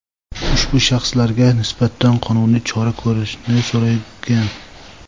ushbu shaxslarga nisbatan qonuniy chora ko‘rishni so‘ragan.